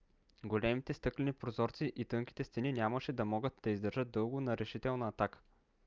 големите стъклени прозорци и тънките стени нямаше да могат да издържат дълго на решителна атака